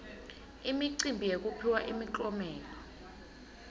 imicimbi yekuphiwa imiklomelo